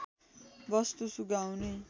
वस्तु सुँघाउने